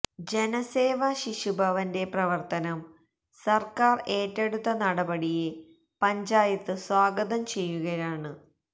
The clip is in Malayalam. ജനസേവ ശിശുഭവന്റെ പ്രവര്ത്തനം സര്ക്കാര് ഏറ്റെടുത്ത നടപടിയെ പഞ്ചായത്ത് സ്വാഗതം ചെയ്യുകയാണ്